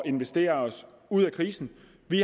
investere os ud af krisen